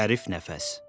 Zərif nəfəs.